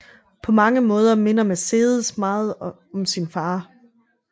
På mange måder minder Mercedes meget om sin far